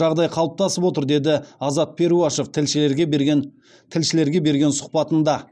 жағдай қалыптасып отыр деді аазат перуашев тілшілерге берген сұхбатында